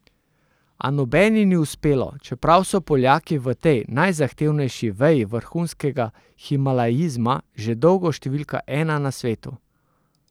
A nobeni ni uspelo, čeprav so Poljaki v tej najzahtevnejši veji vrhunskega himalajizma že dolgo številka ena na svetu.